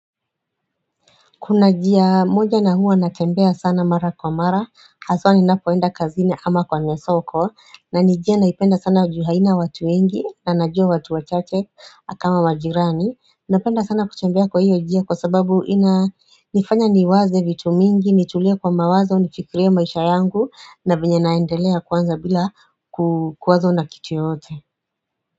Kuna jia moja na huwa natembea sana mara kwa mara haswa ninapoenda kazini ama kwenye soko na ni jia naipenda sana juu haina watu wengi na najua watu wachache kama majirani Napenda sana kutembea kwa hiyo jia kwa sababu ina nifanya niwaze vitu mingi nitulia kwa mawazo nifikirie maisha yangu na venye naendelea kwanza bila kukwazo na kitu yoyote.